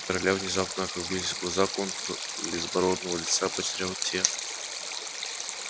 у короля внезапно округлились глаза контур безбородого лица потерял те